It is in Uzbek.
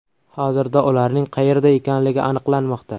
Hozirda ularning qayerda ekanligi aniqlanmoqda.